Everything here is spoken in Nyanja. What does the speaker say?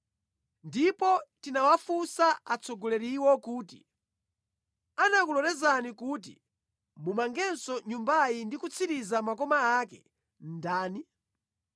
Ndipo tinawafunsa atsogoleriwo kuti, “Anakulolezani kuti mumangenso Nyumbayi ndi kutsiriza makoma ake ndani?”